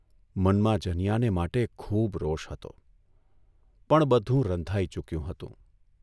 મનમાં જનીયાને માટે ખૂબ રોષ હતો, પણ બધું રંધાઇ ચૂક્યું હતું.